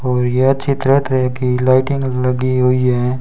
और यह ची तरह तरह की लाइटिंग लगी हुई है।